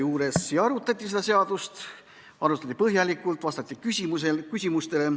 Arutati seda seadust, arutati põhjalikult, vastati küsimustele.